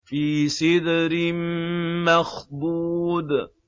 فِي سِدْرٍ مَّخْضُودٍ